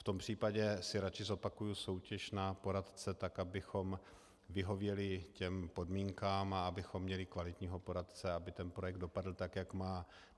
V tom případě si radši zopakuji soutěž na poradce, tak abychom vyhověli těm podmínkám a abychom měli kvalitního poradce, aby ten projekt dopadl tak, jak má.